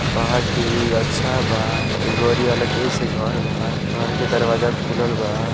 बाहर के व्यू अच्छा बा एक से घर बा घर के दरवाजा खुलल बा।